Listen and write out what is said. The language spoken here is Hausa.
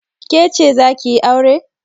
Ke ce za ki yi aure?